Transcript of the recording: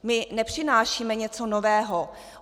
My nepřinášíme něco nového.